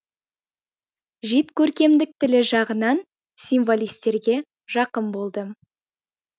жид көркемдік тілі жағынан символистерге жақын болды